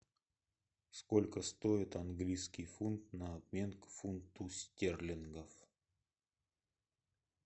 сколько стоит английский фунт на обмен к фунту стерлингов